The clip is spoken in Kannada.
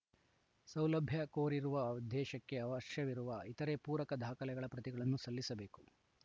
ಸೌಲಭ್ಯ ಕೋರಿರುವ ಉದ್ದೇಶಕ್ಕೆ ಅವಶ್ಯವಿರುವ ಇತರೇ ಪೂರಕ ದಾಖಲೆಗಳ ಪ್ರತಿಗಳನ್ನು ಸಲ್ಲಿಸಬೇಕು